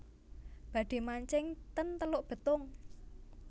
Badhe mancing ten Teluk Betung